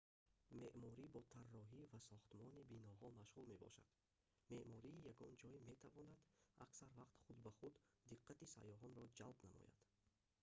меъморӣ бо тарроҳӣ ва сохтмони биноҳо машғул мебошад меъмории ягон ҷой метавонад аксар вақт худ ба худ диққати сайёҳонро ҷалб намояд